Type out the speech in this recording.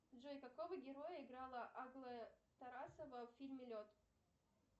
джой какого героя играла аглая тарасова в фильме лед